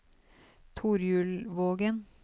Torjulvågen